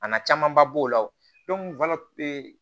A na camanba b'o la o